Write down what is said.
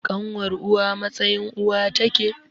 Ƙanwar uwa a matsayin uwa take